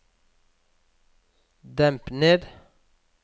demp ned